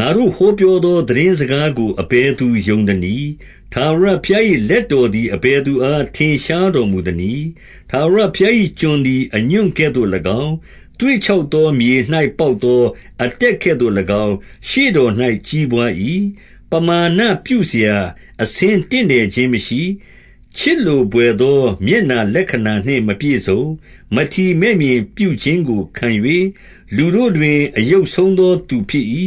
ငါတို့ ဟောပြောသော သိတင်းစကားကို အဘယ်သူ ယုံသနည်း။ ထာဝရဘုရား၏ လက်တော် သည် အဘယ်သူအား ထင်ရှားတော်မူသနည်း။ 2 ထာဝရဘုရား၏ကျွန်သည် အညွန့်ကဲ့သို့၎င်း၊ သွေ့ခြောက်သောမြေ၌ ပေါက်သောအတက်ကဲ့သို့၎င်း၊ ရှေ့တော်၌ ကြီးပွား၏။ ပမာဏပြုစရာ အဆင်းတင့်တယ် ခြင်းမရှိ။ ချစ်လိုဘွယ်သော မျက်နှာလက္ခဏာနှင့် မပြည့်စုံ။ 3 မထီမဲ့မြင်ပြုခြင်းကို ခံ၍၊ လူတို့တွင် အယုတ်ဆုံး သော သူဖြစ်၏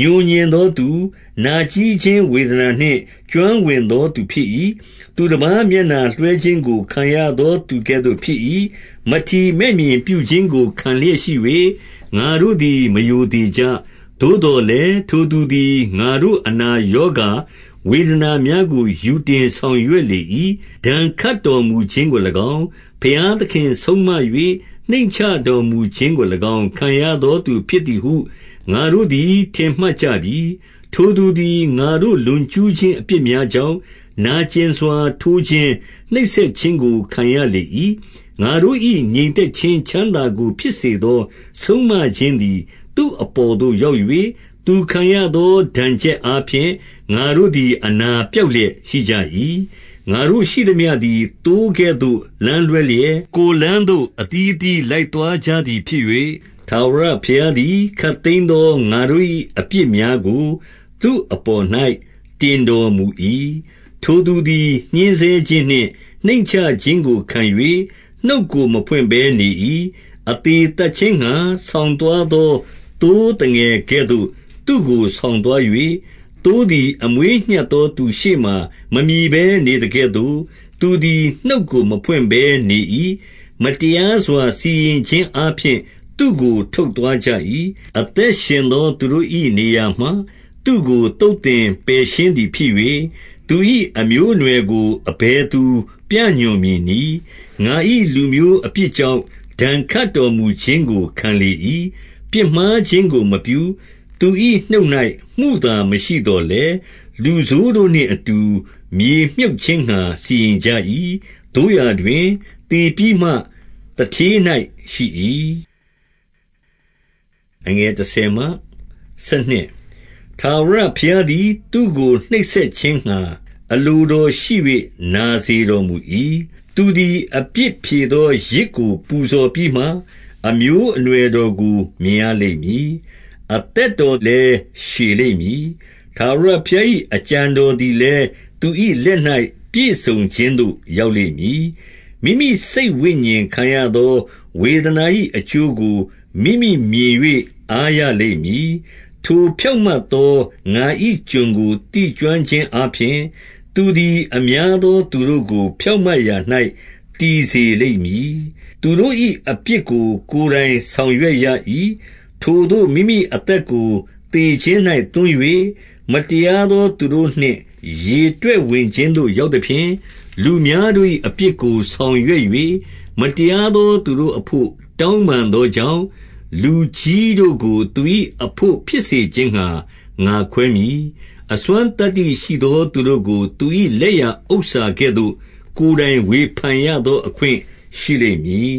ငြိုငြင်သောသူ၊ နာကြဉ်းခြင်းဝေဒနာနှင့် ကျွမ်းဝင်သော သူဖြစ်၏။ သူတပါးမျက်နှာလွှဲခြင်းကို ခံရ သော သူကဲ့သို့ဖြစ်၏။ မထီမဲ့မြင်ပြုခြင်းကို ခံလျက်ရှိ၍၊ ငါတို့သည် မရိုသေကြ။ 4 သို့သော်လည်း၊ ထိုသူသည် ငါတို့အနာရောဂါ ဝေဒနာများကို ယူတင်ဆောင်ရွက်လေ၏။ ဒဏ်ခတ် တော်မူခြင်းကို၎င်း၊ ဘုရားသခင်ဆုံးမ၍ နှိမ့်ချတော်မူ ခြင်းကို၎င်း ခံရသောသူဖြစ်သည်ဟု ငါတို့သည် ထင်မှတ် ကြပြီ။ 5 ထိုသူသည် ငါတို့ လွန်ကျူးခြင်းအပြစ်များ ကြောင့်၊ နာကျင်စွာ ထိုးခြင်း၊ နှိပ်စက်ခြင်းကို ခံရလေ၏။ ငါတို့၏ ငြိမ်သက်ခြင်းချမ်းသာကိုဖြစ်စေသော ဆုံးမခြင်း သည် သူ့အပေါ်သို့ ရောက်၍၊ သူခံရသော ဒဏ်ချက်အား ဖြင့် ငါတို့သည် အနာပျောက်လျက် ရှိကြ၏။ 6 ငါတို့ရှိသမျှသည် သိုးကဲ့သို့ လမ်းလွဲလျက်၊ ကိုယ်လမ်းသို့အသီးအသီး လိုက်သွားကြသည်ဖြစ်၍၊ ထာဝရဘုရားသည် ခပ်သိမ်းသော ငါတို့၏အပြစ်များကို သူ့အပေါ်၌ တင်တော်မူ၏။ 7 ထိုသူသည် ညှဉ်းဆဲခြင်းနှင့် နှိမ့်ချခြင်းကို ခံ၍ နှုတ်ကို မဖွင့်ဘဲနေ၏။ အသေသတ်ခြင်းငှါ ဆောင်သွား သော သိုးသငယ်ကဲ့သို့ သူ့ကို ဆောင်သွား၍၊ သိုးသည် အမွေးညှပ်သောသူရှေ့မှာ မမြည်ဘဲနေသကဲ့သို့၊ သူသည် နှုတ်ကို မဖွင့်ဘဲ နေ၏။ 8 မတရားစွာ စီရင်ခြင်းအားဖြင့် သူ့ကို ထုတ်သွား ကြ၏။ အသက်ရှင်သော သူတို့၏ နေရာမှ သူ့ကို သုတ် သင်ပယ်ရှင်းသည်ဖြစ်၍၊ သူ၏အမျိုးအနွယ်ကို အဘယ် သူပြညွှန်မည်နည်း။ ငါ၏လူမျိုးအပြစ်ကြောင့် ဒဏ်ခတ် တော်မူခြင်းကို ခံလေ၏။ 9 ပြစ်မှားခြင်းကို မပြု။ သူ၏နှုတ်၌ မုသာမရှိ သော်လည်း၊ လူဆိုးတို့နှင့်အတူ မြေမြှုပ်ခြင်းငှါ စီရင် ကြ၏။ သို့ရာတွင် သေပြီးမှ သူဌေး၌ ရှိ၏။ 10 ထာဝရဘုရားသည် သူ့ကို နှိပ်စက်ခြင်းငှါ အလို တော်ရှိ၍ နာစေတော်မူ၏။ သူသည် အပြစ်ဖြေသော ယဇ်ကိုပူဇော်ပြီးမှ၊ အမျိုးအနွယ်တော်ကို မြင်ရလိမ့်မည်။ အသက်တော်လည်း ရှည်လိမ့်မည်။ ထာဝရဘုရား၏ အကြံတော်သည်လည်း သူ၏လက်၌ ပြည့်စုံခြင်းသို့ ရောက်လိမ့်မည်။ 11 မိမိစိတ်ဝိညာဉ်ခံရသော ဝေဒနာ၏အကျိုးကို မိမိမြင်၍ အားရလိမ့်မည်။ ထိုဖြောင့်မတ်သော ငါ၏ကျွန် ကို သိကျွမ်းခြင်းအားဖြင့်၊ သူသည် အများသော သူတို့ကို ဖြောင့်မတ်ရာ၌ တည်စေလိမ့်မည်။ သူတို့၏အပြစ်ကို ကိုယ်တိုင်ဆောင်ရွက်ရ၏။ 12 ထိုသို့ မိမိအသက်ကို သေခြင်း၌ သွန်း၍၊ မတရားသော သူတို့နှင့် ရေတွက်ဝင်ခြင်းသို့ ရောက်သ ဖြင့်၊ လူများတို့၏အပြစ်ကို ဆောင်ရွက်၍၊ မတရားသော သူတို့အဘို့ တောင်းပန်သောကြောင့်၊ လူကြီးတို့ကို သူ၏ အဘို့ဖြစ်စေခြင်းငှါ ငါခွဲမည်။ အစွမ်းသတ္တိရှိသော သူတို့ ကို သူ၏လက်ရဥစ္စာကဲ့သို့၊ ကိုယ်တိုင်ဝေဖန်ရသော အခွင့် ရှိလိမ့်မည်